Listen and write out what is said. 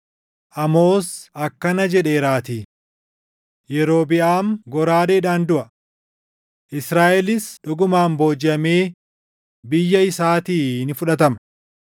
Amoos akkana jedheeraatii: “ ‘Yerobiʼaam goraadeedhaan duʼa; Israaʼelis dhugumaan boojiʼamee biyya isaatii ni fudhatama.’ ”